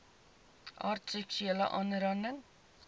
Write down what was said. aard seksuele aanranding